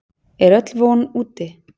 Er öll von úti?